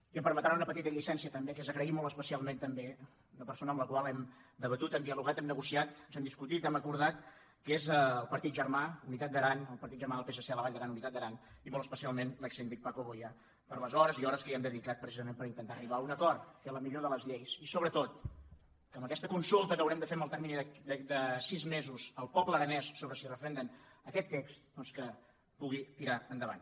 i em permetran una petita llicència també que és do·nar les gràcies molt especialment també a la persona amb la qual hem debatut hem dialogat hem nego ciat ens hem discutit hem acordat que és el partit ger·mà unitat d’aran el partit germà del psc a la vall d’aran unitat d’aran i molt especialment l’exsíndic paco boya per les hores i hores que hi hem dedicat precisament per intentar arribar a un acord fer la mi·llor de les lleis i sobretot que amb aquesta consulta que haurem de fer en el termini de sis mesos al poble aranès sobre si referenden aquest text doncs que pu·gui tirar endavant